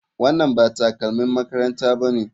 Wannan ba takalmin makaranta bane.